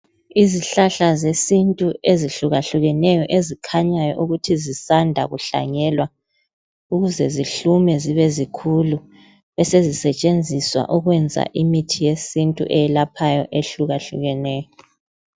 Izihlahla zesintu ezihlukahlukeneyo ezikhanyayo ukuthi zisanda kuhlanyelwa ukuze zihlume zibe zikhulu besezisetshenziswa ukwenza imithi yesintu eyelaphayo ehlukahlukeneyo.